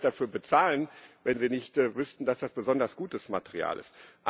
Sonst würden sie ja nicht dafür bezahlen, wenn sie nicht wüssten, dass das besonders gutes Material ist.